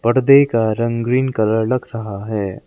पर्दे का रंग ग्रीन कलर लग रहा है।